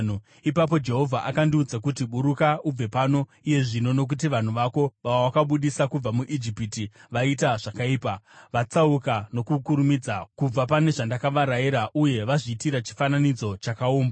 Ipapo Jehovha akandiudza kuti, “Buruka ubve pano iye zvino, nokuti vanhu vako vawakabudisa kubva muIjipiti vaita zvakaipa. Vatsauka nokukurumidza kubva pane zvandakavarayira uye vazviitira chifananidzo chakaumbwa.”